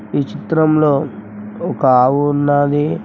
ఈ చిత్రంలో ఒక ఆవు ఉన్నాది.